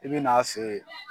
I bɛ n'a fɛ ye.